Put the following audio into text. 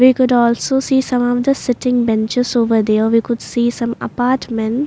we could also see some of the sitting benches over there we could see some apartment.